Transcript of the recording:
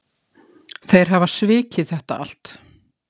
Þeir hafa svikið þetta allt